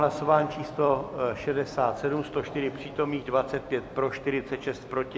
Hlasování číslo 67, 104 přítomných, 25 pro, 46 proti.